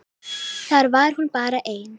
Þar var hún bara ein.